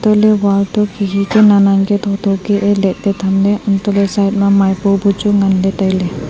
antoley wall to khikhi ka naan naan ka thotho kehye letley thamley antohle side ma maipua buchu nganla tailey.